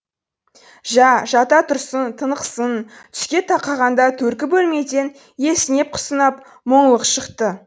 жә жата тұрсын тынықсын түске тақағанда төргі бөлмеден есінеп құсынап мұңлық шықты